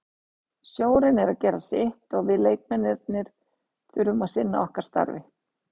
Stjórinn er að gera sitt og við leikmennirnir þurfum að sinna okkar starfi.